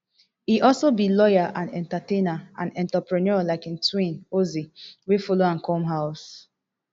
e also be lawyer and entertainer and entrepreneur like im twin ozee wey follow am come house